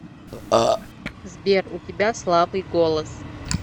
сбер у тебя слабый голос